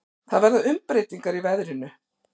Það verða umbreytingar í veðrinu.